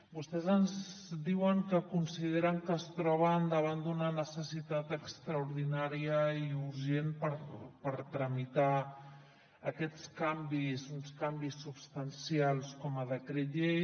vostès ens diuen que consideren que es troben davant d’una necessitat extraordinària i urgent per tramitar aquests canvis uns canvis substancials com a decret llei